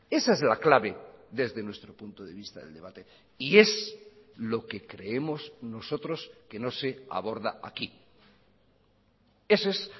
esa es la clave desde nuestro punto de vista del debate y es lo que creemos nosotros que no se aborda aquí ese es